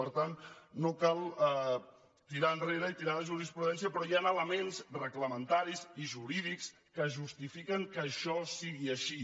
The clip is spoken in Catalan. per tant no cal tirar enrere i tirar de jurisprudència però hi han elements reglamentaris i jurídics que justifiquen que això sigui així